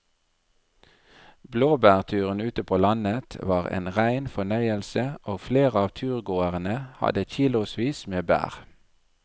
Blåbærturen ute på landet var en rein fornøyelse og flere av turgåerene hadde kilosvis med bær.